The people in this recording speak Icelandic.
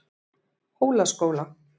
Hólaskóla